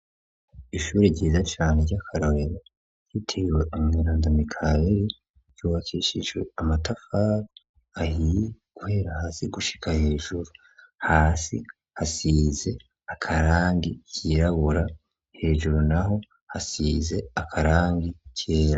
Ishure ryiza cane rya karorero ryitiriwe we umweranda mikaheri ryubakishijwe amatafari ahiye guhera hasi gushika hejuru hasi hasize akarangi kirabura hejuru naho hasize akarangi kera.